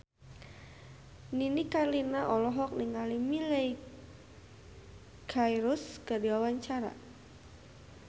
Nini Carlina olohok ningali Miley Cyrus keur diwawancara